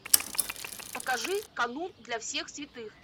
покажи канун для всех святых